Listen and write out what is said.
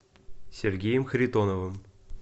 сергеем харитоновым